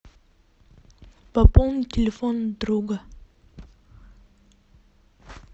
пополнить телефон друга